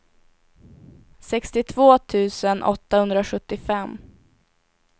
sextiotvå tusen åttahundrasjuttiofem